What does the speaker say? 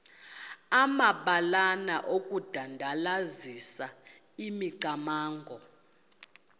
amabalana okudandalazisa imicamango